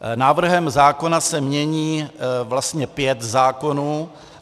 Návrhem zákona se mění vlastně pět zákonů.